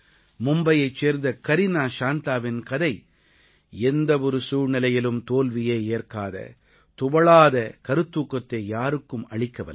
மும்பையைச் சேர்ந்த கரீனா ஷாந்தாவின் கதை எந்த ஒரு சூழ்நிலையிலும் தோல்வியை ஏற்காத துவளாத கருத்தூக்கத்தை யாருக்கும் அளிக்கவல்லது